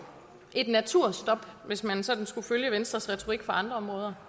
et naturstop hvis man sådan skulle følge venstres retorik fra andre områder